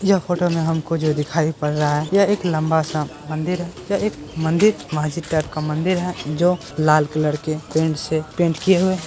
यह फोटो में हमको जो दिखाई पड़ रहा है यह एक लंबा सा मंदिर है जो एक मंदिर मस्जिद टाइप का मंदिर है जो लाल कलर के पेनट्स से पेन्ट किए हुए है।